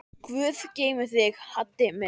Guð geymi þig, Haddi minn.